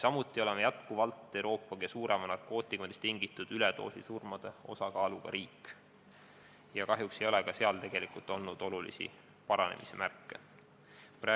Samuti oleme jätkuvalt Euroopa kõige suurema narkootikumidest tingitud üledoosisurmade osakaaluga riik ja kahjuks ei ole ka seal olnud olulisi paranemise märke.